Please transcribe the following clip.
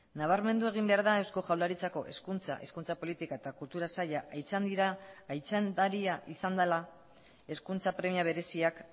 nabarmendu egin behar da eusko jaurlaritzako hezkuntza hezkuntza politika eta kultura saila aitzindaria izan dela hezkuntza premia bereziak